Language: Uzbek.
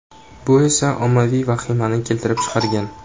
Bu esa ommaviy vahimani keltirib chiqargan.